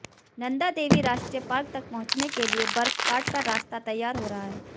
नंदा देवी राष्ट्रीय पार्क तक पहुंचने के लिए बर्फ काटकर रास्ता तैयार हो रहा है